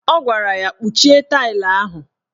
Ọ gwara ya"Kpuchie tailu ahụ! "